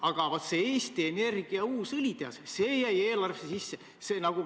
Aga Eesti Energia uus õlitehas jäi eelarvesse sisse.